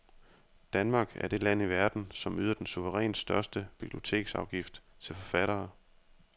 Danmark er det land i verden, som yder den suverænt største biblioteksafgift til forfattere.